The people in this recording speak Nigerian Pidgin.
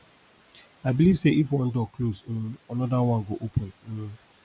i believe sey if one door close um anoda one go open um